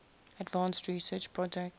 advanced research projects